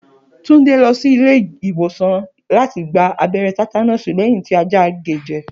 Túnde lo̩ sí ilé ìwòsàn láti gba abé̩ré̩ té̩tánó̩ò̩sì lé̩yìn tí ajá gée je̩